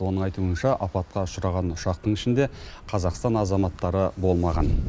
оның айтуынша апатқа ұшыраған ұшақтың ішінде қазақстан азаматтары болмаған